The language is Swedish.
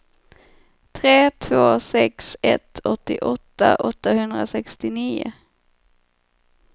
tre två sex ett åttioåtta åttahundrasextionio